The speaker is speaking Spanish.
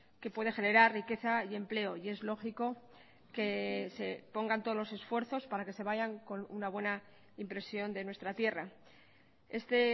que puede generar riqueza y empleo y es lógico que se pongan todos los esfuerzos para que se vayan con una buena impresión de nuestra tierra este